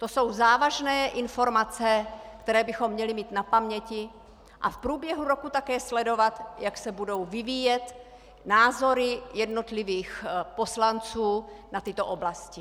To jsou závažné informace, které bychom měli mít na paměti, a v průběhu roku také sledovat, jak se budou vyvíjet názory jednotlivých poslanců na tyto oblasti.